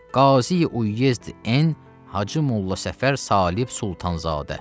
Qazi Uyezd N Hacı Molla Səfər Salib Sultanzadə.